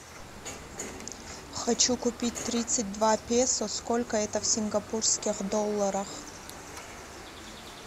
хочу купить тридцать два песо сколько это в сингапурских долларах